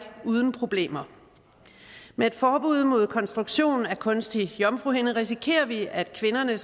uden problemer med et forbud mod konstruktion af en kunstig jomfruhinde risikerer vi at kvinderne